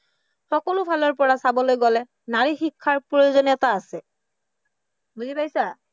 সকলো ফালৰ পৰা চাবকৈ গলে নাৰী শিক্ষাৰ প্ৰয়োজনীয়তা আছে, বুজি পাইছা?